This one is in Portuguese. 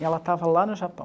E ela estava lá no Japão.